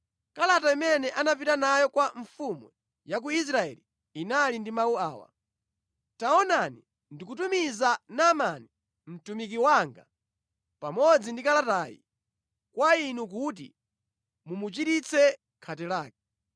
Kalata imene anapita nayo kwa mfumu ya ku Israeli inali ndi mawu awa: “Taonani, ndikutumiza Naamani mtumiki wanga pamodzi ndi kalatayi kwa inu kuti mumuchiritse khate lake.”